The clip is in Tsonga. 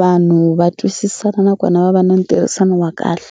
vanhu va twisisana nakona va va na ntirhisano wa kahle.